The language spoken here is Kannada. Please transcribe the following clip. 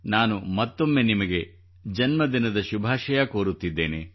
ನಾನು ಮತ್ತೊಮ್ಮೆ ನಿಮಗೆ ಜನ್ಮದಿನದ ಶುಭಾಶಯ ಕೋರುತ್ತಿದ್ದೇನೆ